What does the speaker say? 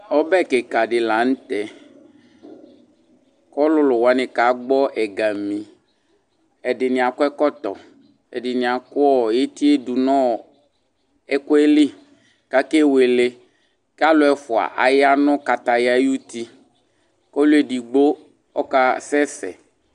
Ɔbɛ kika ɗi la nu tɛ ku ɔlulu wani kagbɔ ɛgamĩ Ɛɗini akɔ ɛkɔtɔ Ɛɗini aku etie ɗu nu ɛkuɛ li kakewele, kalo ɛfoa qya nu kataya yu ti, ku ɔlu eɗigbo ɔka sɛsɛ